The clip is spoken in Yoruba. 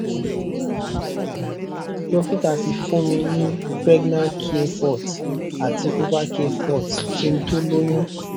um dokita ti fún mi ní pregnacare forte àti ovacare forte kí n tó lóyún